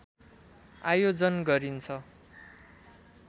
आयोजन गरिन्छ